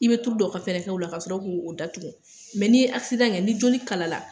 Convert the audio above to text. I bɛ tulu dɔ ka fɛn k'u la kasɔrɔ k'u datugu n'i ye kɛ ni joli kalala